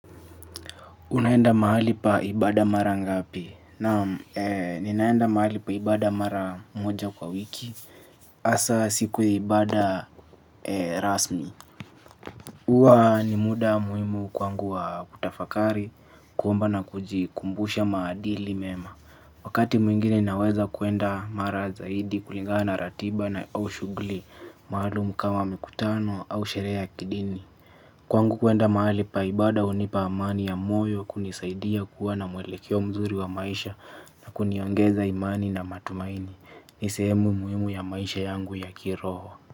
Unaenda mahali pa ibada mara ngapi. Naam ninaenda mahali pa ibada mara moja kwa wiki hasa siku ya ibada rasmi huwa ni muda muhimu kwangu wa kutafakari kuomba na kujikumbusha maadili mema. Wakati mwingine naweza kwenda mara zaidi kulingana na ratiba na au shughuli maalum kama mikutano au sherehe ya kidini. Kwangu kwenda mahali pa ibada hunipa amani ya moyo kunisaidia kuwa na mwelekeo mzuri wa maisha na kuniongeza imani na matumaini. Ni sehemu muhimu ya maisha yangu ya kiroho.